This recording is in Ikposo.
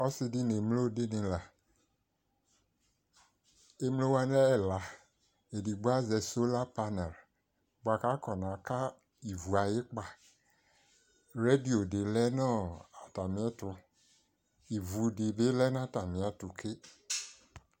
Ɔsidi né émloo dinila Émloowa lɛ ɛĺa Édigbo azɛ sulapana bua ka afɔnaka iʋʊ ayi okpaa Radio di lɛnu atamiɛtu Iʋudibi lɛna atamiɛtu ké